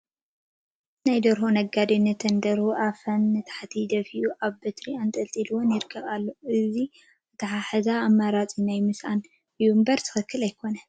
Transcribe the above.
ናይ ደርሆ ነጋዲ ነተን ደርሁ ኣፈን ንታሕቲ ደፊኡ ኣብ በትሪ ኣንጠልጢሉወን ይኸይድ ኣሎ፡፡ እዚ ኣተሓሕዛ ኣማራፂ ናይ ምስኣን እዩ እምበር ትኽኽለኛ ኣይኮነን፡፡